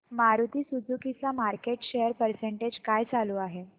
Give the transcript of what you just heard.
Maruti Suzuki चा market share percentage काय चालू आहे